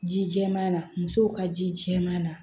Ji jɛman na musow ka ji jɛman na